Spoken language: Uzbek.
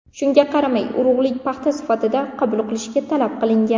Shunga qaramay urug‘lik paxta sifatida qabul qilish talab qilingan.